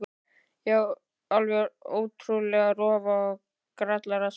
Já, alveg ótrúleg rófa og grallaraspói.